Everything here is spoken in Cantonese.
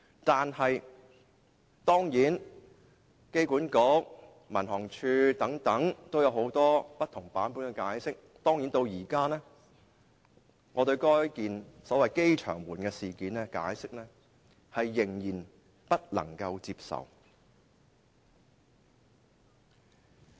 當然，香港機場管理局和民航處對事件均有不同版本的解釋，但至今我對該宗所謂"機場門事件"的解釋仍然不能接受。